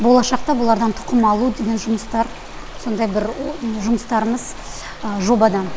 болашақта бұлардан тұқым алу деген жұмыстар сондай бір жұмыстарымыз жобада